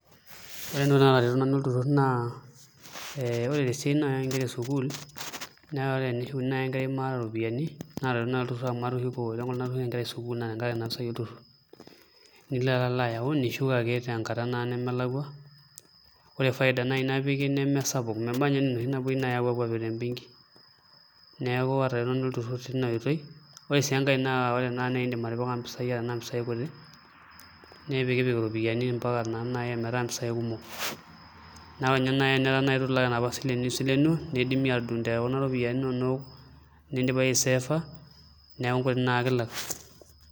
Ore entoki natareto nanu olturur naa ore esiai oo nkera ee sukuul naa ore pee eshukuni naaji enkerai maata eropiani naa etii naaji enkolong matushuko Nkera sukuul tenkaraki Nena pisai olturur nilo ake ayawu nishuk tenkata nemelakua ore faida napiki neme sapuk meba ninye naaji enaa enoshi napuoi apik tee benki neeku atareto naa olturur teina oitoi ore sii enkae naa edim atipika eropiani kutik nipikipik mpisai ometaa naa mpisai kumok naa ore naaji teneku eitu elak enapa silent nisilenuo naa ekidimi atudungo tekuna ropiani enono nidipa eyie aisefa neeku enkuti ake elak